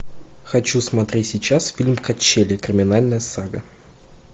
хочу смотреть сейчас фильм качели криминальная сага